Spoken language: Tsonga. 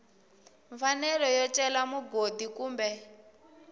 mfanelo yo cela mugodi kumbe